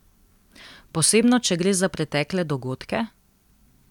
Posebno če gre za pretekle dogodke?